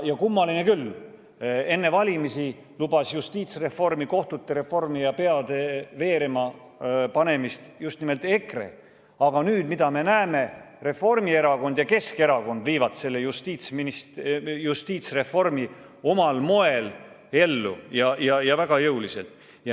Kummaline küll, enne valimisi lubas justiitsreformi, kohtute reformi ja peade veerema panemist just nimelt EKRE, aga nüüd me näeme, et hoopis Reformierakond ja Keskerakond viivad selle justiitsreformi omal moel ellu, tehes seda väga jõuliselt.